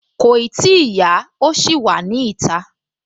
Kòì tíì yá, ó ṣì wà ní ìta